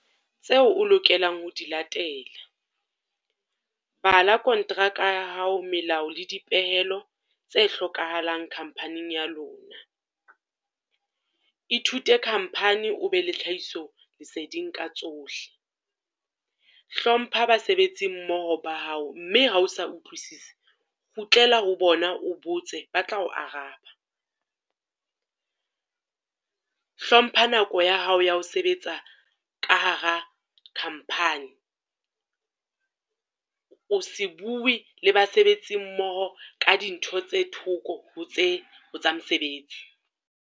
Tseo o lokelang ho di latela. Bala kontraka ya hao melao le dipehelo tse hlokahalang company-ng ya lona. Ithute company o be le tlhahiso leseding ka tsohle. Hlompha basebetsi mmoho ba hao, mme ha o sa utlwisise, kgutlela ho bona, o botse ba tla o araba. Hlompha nako ya hao ya ho sebetsa ka hara company, o se bue le basebetsi mmoho ka dintho tse thoko tse, ho tsa mosebetsi.